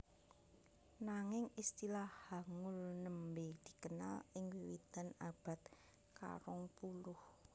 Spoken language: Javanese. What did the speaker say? Nanging istilah Hangul nembé dikenal ing wiwitan abad karongpuluh